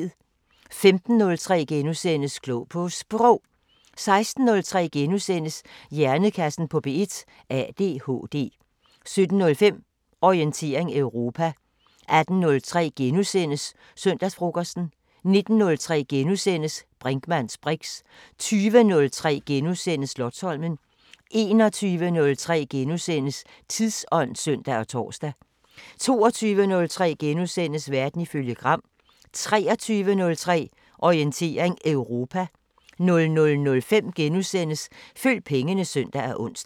15:03: Klog på Sprog * 16:03: Hjernekassen på P1: ADHD * 17:05: Orientering Europa 18:03: Søndagsfrokosten * 19:03: Brinkmanns briks * 20:03: Slotsholmen * 21:03: Tidsånd *(søn og tor) 22:03: Verden ifølge Gram * 23:03: Orientering Europa 00:05: Følg pengene *(søn og ons)